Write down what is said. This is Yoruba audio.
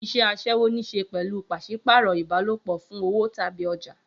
Iṣẹ́ aṣẹ́wó ní í ṣe pẹ̀lú pàṣípààrọ̀ ìbálòpọ̀ fún owó tàbí ọjà.